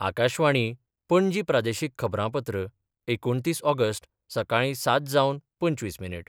आकाशवाणी, पणजी प्रादेशीक खबरांपत्र एकुणतीस ऑगस्ट, सकाळी सात जावन पंचवीस मिनीट